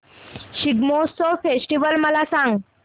Shigmotsav festival मला सांग